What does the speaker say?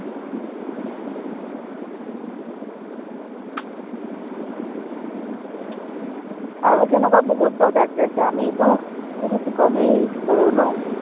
আৰু তেনেকুৱা বহুত product আছে, আমিতো বহুত কমেই use কৰো ন